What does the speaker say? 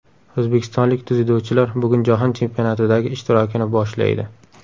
O‘zbekistonlik dzyudochilar bugun Jahon chempionatidagi ishtirokini boshlaydi.